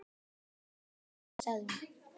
Ég skil þig ekki, sagði hún.